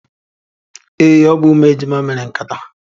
Ee, ọ bụ umu ejima mere nkata.